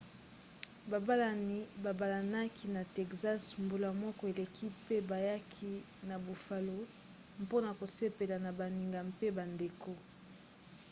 babalani babalanaki na texas mbula moko eleki pe bayaki na buffalo mpona kosepela na baninga mpe bandeko